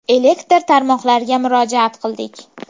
Elektr tarmoqlariga murojaat qildik.